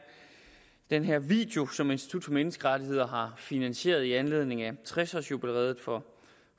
den her video som institut for menneskerettigheder har finansieret i anledning af tres års jubilæet for